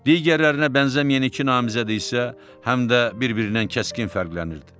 Digərlərinə bənzəməyən iki namizəd isə həm də bir-birindən kəskin fərqlənirdi.